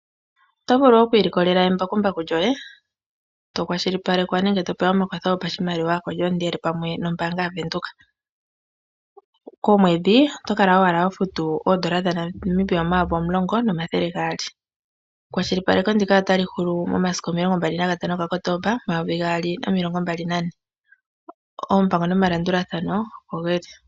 Oto vulu oku ilikolela embakumbaku lyoye tokwashilipalekwa nenge to pewa omakwatho go pashimaliwa to endele pamwe nombanga yaVenduka. Komwedhi oto kala owala ho futu oondola dhaNamibia omayovi omulongo nomathele gaali. Ekwashilipaleko ndika otali huku momasiku omilongo mbali nagatano ga kotomba omayovi gaali nomilongo mbali nane oompango nomalandulathano opo geli.